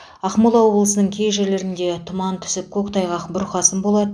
ақмола облысының кей жерлерінде тұман түсіп көктайғақ бұрқасын болады